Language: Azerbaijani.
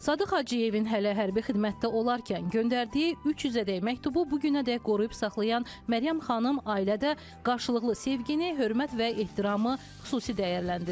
Sadıq Hacıyevin hələ hərbi xidmətdə olarkən göndərdiyi 300-ədək məktubu bu günədək qoruyub saxlayan Məryəm xanım ailədə qarşılıqlı sevgini, hörmət və ehtiramı xüsusi dəyərləndirir.